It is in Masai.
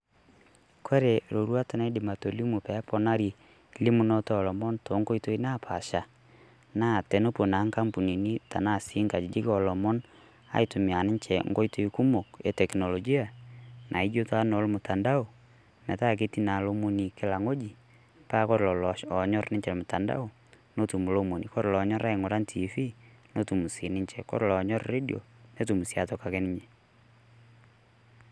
Kore roruat naidim atolimu peponari elimunot oolomon to nkotoi naapasha, naa tonepoo naa nkampunini tanaa si nkajijik oolomon aitumia ninchee nkotoi kumook e teknolijia naijoo taa no mtandao. Metaa ketii naa elomon kilaa ng'oji paa kore laanyor ninchee mtandao netum elomoni. Kore loonyorr aing'ura tv notuum sii ninchee, kore loonyorr redio netum sii atokii ninye.